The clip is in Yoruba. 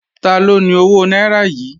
Taló ni owó náírà yìí?